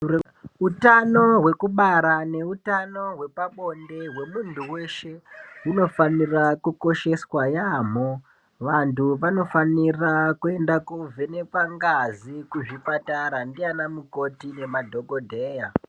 Utano hwekubara neutano hwepabonde hwemuntu weshe hunofanira kukosheswa yamho vanhu vanofanira kuenda kovhenekwa ngazi kuzvipatara ndiana mukoti nemadhokodheya.